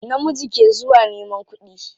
Namiji ke zuwa neman kuɗi.